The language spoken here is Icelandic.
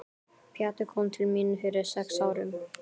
Pjatti kom til mín fyrir sex árum.